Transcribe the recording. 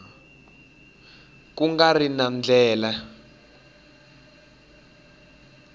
ku nga ri na ndlela